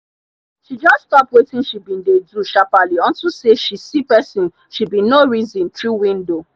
she jus stop wetin she bin dey do sharperly unto say she see pesin she bin nor reson tru window